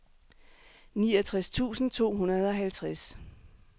niogtres tusind to hundrede og halvtreds